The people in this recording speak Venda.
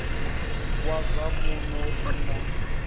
wa zwa muno u na